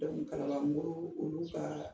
Dɔnku Kalabanbugu olu ka